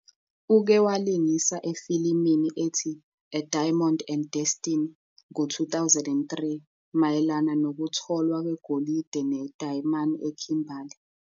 Uke walingisa efilimini ethi "A Diamond and Destiny" ngo-2003, mayelana nokutholwa kwegolide nedayimane eKimberly.